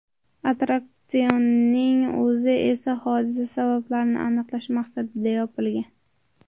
Attraksionning o‘zi esa hodisa sabablarini aniqlash maqsadida yopilgan.